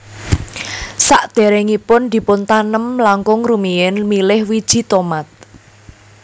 Sadèrèngipun dipuntanem langkung rumiyin milih wiji tomat